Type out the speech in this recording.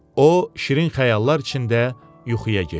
O, şirin xəyallar içində yuxuya getdi.